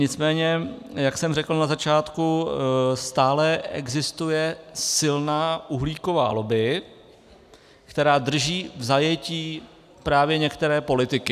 Nicméně jak jsem řekl na začátku, stále existuje silná uhlíková lobby, která drží v zajetí právě některé politiky.